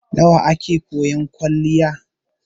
Nawa a ke koyan kwaliya?